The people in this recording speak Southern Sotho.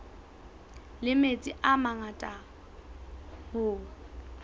la metsi a mangata hoo